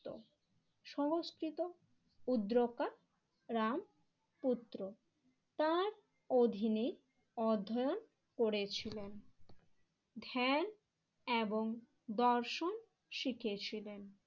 সংস্কৃত Udraka Ramaputra তার অধীনে অধ্যায়ন করেছিলেন, ধ্যান এবং দর্শন শিখিয়েছিলেন।